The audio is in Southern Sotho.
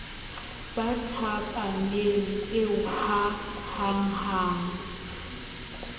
ba thapameng eo ha hanghang